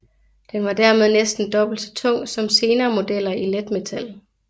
Den var dermed næsten dobbelt så tung som senere modeller i letmetal